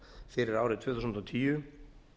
fyrir árið tvö þúsund og tíu